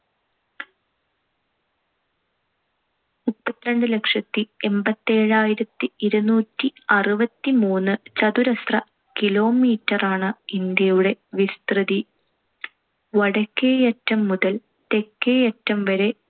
മുപ്പത്തിരണ്ടുലക്ഷത്തി എൺപത്തിയേഴായിരത്തി ഇരുനൂറ്റിഅറുപത്തിമൂന്ന്‌ ചതുരശ്ര kilometer ആണ് ഇന്ത്യയുടെ വിസ്തൃതി. വടക്കേയറ്റം മുതൽ തെക്കേയറ്റം വരെ